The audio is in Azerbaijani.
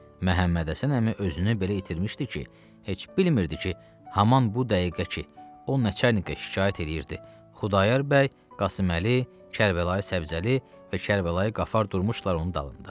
Məhəmmədhəsən əmi özünü belə itirmişdi ki, heç bilmirdi ki, haman bu dəqiqə ki, o Nəçərnikə şikayət eləyirdi, Xudayar bəy, Qasıməli, Kərbəlayı Səbzəli və Kərbəlayı Qafar durmuşdular onun dalında.